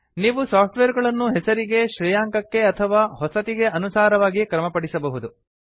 ನೀವು ಸಾಫ್ಟ್ವೇರ್ ಗಳನ್ನು ಹೆಸರಿಗೆ ಶ್ರೇಯಾಂಕಕ್ಕೆ ಅಥವಾ ಹೊಸತಿಗೆ ಅನುಸಾರವಾಗಿ ಕ್ರಮಪಡಿಸಬಹುದು